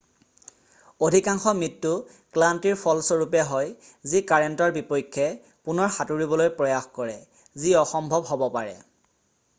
অধিকাংশ মৃত্যু ক্লান্তিৰ ফলস্বৰূপে হয় যি কাৰেন্টৰ বিপক্ষে পুনৰ সাঁতুৰিবলৈ প্ৰয়াস কৰে যি অসম্ভৱ হ'ব পাৰে৷